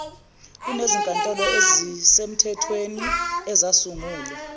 kunezinkantolo ezimthethweni ezasungulwa